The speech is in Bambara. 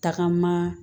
Tagama